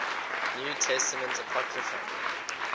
new testament apocrypha